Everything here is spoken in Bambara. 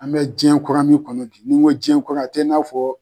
An be jiyɛn kura min kɔnɔ bi n'i ko jiyɛn kura a t'i n'a fɔ